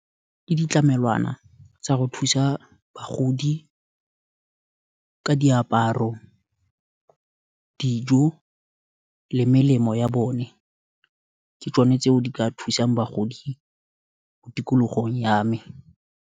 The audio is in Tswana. Ke ditlamelwana tsa go thusa bagodi, ka diaparo, dijo, le melemo ya bone, ke tsone tse o di ka thusang bagodi mo tikologong ya me.